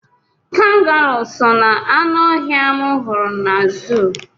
Kangaruu so na-aṅụ ọhịa m hụrụ na zuu.